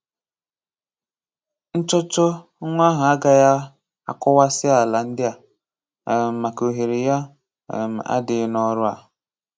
Nchọ́chọ́ nwa ahụ agaghị akụwasị àlà ndị a um maka òhèrè ya um adịghị n'ọrụ a